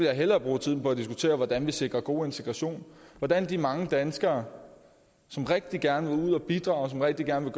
jeg hellere bruge tiden på at diskutere hvordan vi sikrer god integration hvordan de mange danskere som rigtig gerne vil ud at bidrage som rigtig gerne